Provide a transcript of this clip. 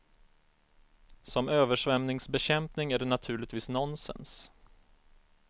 Som översvämningsbekämpning är det naturligtvis nonsens.